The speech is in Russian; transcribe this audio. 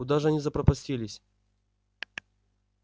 куда же они запропастились